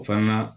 O fana na